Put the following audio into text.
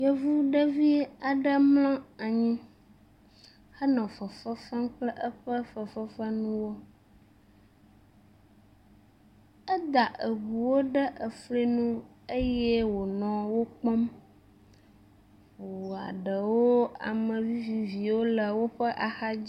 Yevuvi aɖe mlɔ anyi henɔ fefe fem kple eƒe fefefenuwo. Eda ŋuwo ɖe fli nu eye wonɔ wo kpɔm. Ŋua ɖewo ame viviwo le woƒe axadzi.